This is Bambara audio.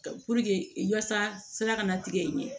yasa sira kana tigɛ n ɲɛ